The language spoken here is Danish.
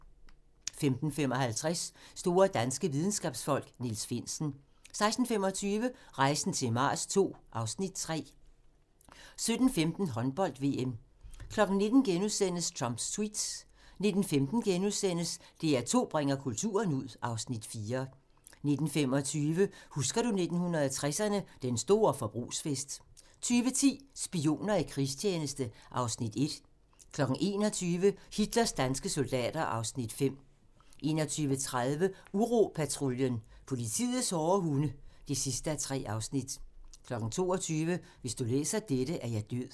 15:55: Store danske videnskabsfolk: Niels Finsen 16:25: Rejsen til Mars II (Afs. 3) 17:15: Håndbold: VM 19:00: Trumps Tweets * 19:15: DR2 bringer kulturen ud (Afs. 4)* 19:25: Husker du 1960'erne – den store forbrugsfest 20:10: Spioner i krigstjeneste (Afs. 1) 21:00: Hitlers danske soldater (Afs. 5) 21:30: Uropatruljen – politiets hårde hunde (3:3) 22:00: Hvis du læser dette, er jeg død (3:4)